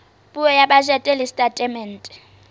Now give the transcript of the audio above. puo ya bajete le setatemente